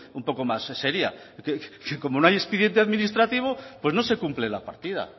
un poco más seria que como no hay expediente administrativo pues no se cumple la partida